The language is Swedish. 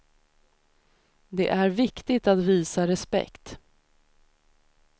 Det är viktigt att visa respekt.